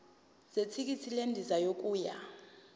zethikithi lendiza yokuya